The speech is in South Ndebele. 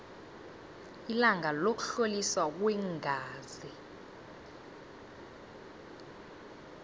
ilanga lokuhloliswa kweengazi